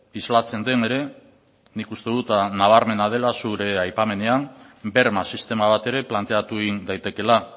islatzen den ere nik uste dut nabarmena dela zure aipamenean berma sistema bat ere planteatu egin daitekeela